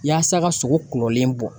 Yaasa ka sogo kulɔlen bɔ